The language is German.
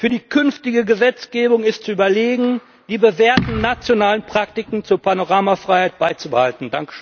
Für die künftige Gesetzgebung ist zu überlegen, die bewährten nationalen Praktiken zur Panoramafreiheit beizubehalten.